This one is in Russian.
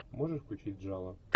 можешь включить жало